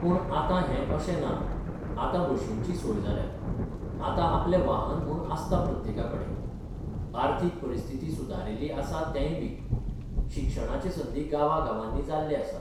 पूण आतां हें अशें ना आतां बशींचीं सोय जाल्या आतां आपलें वाहन म्हूण आसता प्रत्येका कडेन आर्थीक परिस्थिती सुदारिल्ली आसा तेंय बी शिक्षणाचे संदी गांवां गांवांनी जाल्ले आसात.